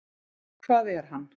Hvað er hann?